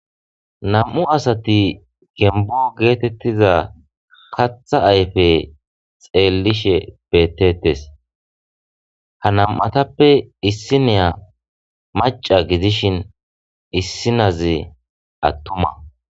nam7u asati gembo geetettiza katha ayfe xeellishe bettettes ha nam7atappe issi neya maca gidishin issinazi attuma